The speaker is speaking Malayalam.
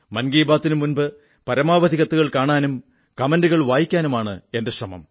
മൻ കീ ബാത്തിനു മുമ്പ് പരമാവധി കത്തുകൾ കാണാനും കമന്റുകൾ വായിക്കാനുമാണ് എന്റെ ശ്രമം